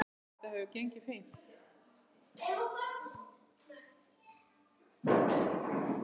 Þetta hefur gengið fínt.